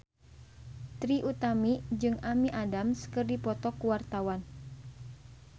Trie Utami jeung Amy Adams keur dipoto ku wartawan